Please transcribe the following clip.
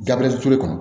Gabiriyɛri ture kɔnɔ